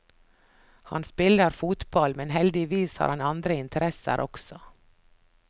Han spiller fotball, men heldigvis har han andre interesser også.